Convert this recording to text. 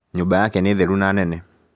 Nyũmba yake nĩ theru na nene